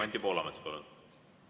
Anti Poolamets, palun!